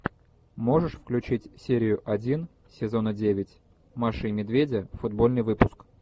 можешь включить серию один сезона девять маша и медведь футбольный выпуск